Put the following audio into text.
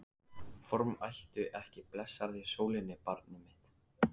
Formæltu ekki blessaðri sólinni, barnið mitt.